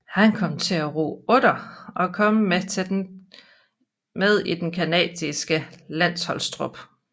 Han kom til at ro otter og kom med i den canadiske landsholdstrup